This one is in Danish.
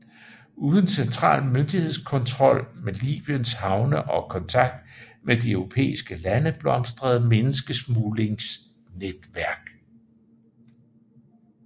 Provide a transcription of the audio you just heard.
Uden central myndighedskontrol med Libyens havne og kontakt med de europæiske lande blomstrede menneskesmuglingsnetværk